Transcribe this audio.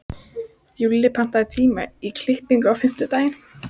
Júlli, pantaðu tíma í klippingu á fimmtudaginn.